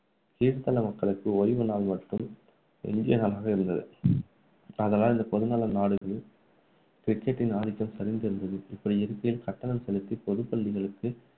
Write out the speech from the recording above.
கீழ் தள மக்களுக்கு ஓய்வு நாள் மட்டும் தான் எஞ்சிய நாளாக இருந்தது. ஆதலால் இந்த பொதுநல நாடுகளில் cricket டின் ஆதிக்கம் சரிந்து இருந்தது. இப்படி இருக்கையில், கட்டணம் செலுத்தி பொதுப் பள்ளிகளுக்கு